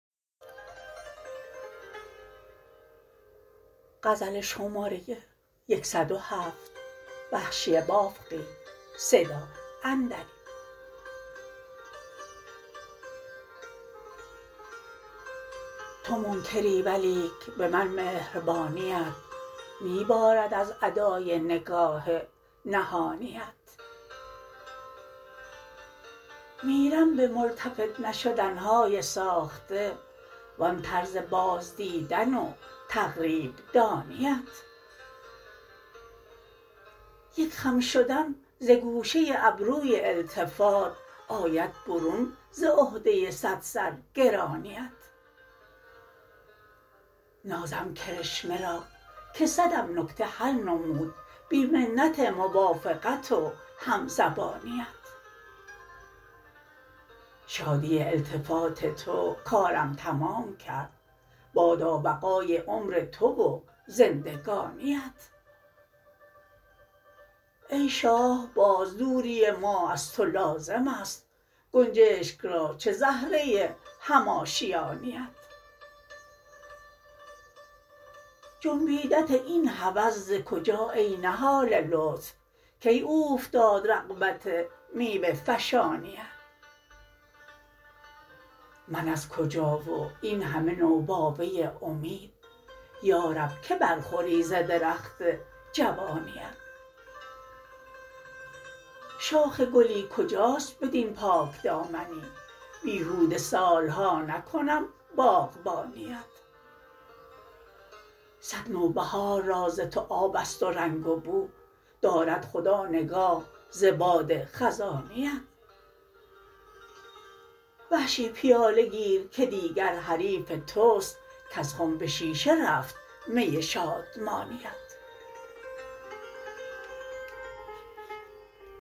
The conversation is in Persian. تو منکری ولیک به من مهربانیت می بارد از ادای نگاه نهانیت میرم به ملتفت نشدن های ساخته و آن طرز بازدیدن و تقریب دانیت یک خم شدن ز گوشه ابروی التفات آید برون ز عهده صد سر گرانیت نازم کرشمه را که صدم نکته حل نمود بی منت موافقت و هم زبانیت شادی التفات تو کارم تمام کرد بادا بقای عمر تو و زندگانیت ای شاه باز دوری ما از تو لازم است گنجشک را چه زهره هم آشیانیت جنبیدت این هوس ز کجا ای نهال لطف کی اوفتاد رغبت میوه فشانیت من از کجا و این همه نوباوه امید یارب که برخوری ز درخت جوانیت شاخ گلی کجاست بدین پاک دامنی بیهوده سال ها نکنم باغبانیت صد نوبهار را ز تو آب است و رنگ و بو دارد خدا نگاه ز باد خزانیت وحشی پیاله گیر که دیگر حریف توست کز خم به شیشه رفت می شادمانیت